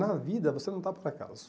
Na vida, você não está por acaso.